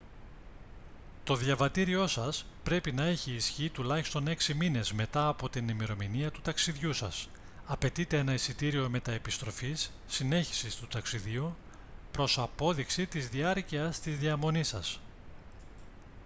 το διαβατήριό σας πρέπει να έχει ισχύ τουλάχιστον έξι μήνες μετά από την ημερομηνία του ταξιδιού σας. απαιτείται ένα εισιτήριο μετ' επιστροφής/συνέχισης του ταξιδιού προς απόδειξη της διάρκειας της διαμονής σας